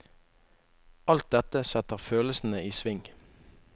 Alt dette setter følelsene i sving.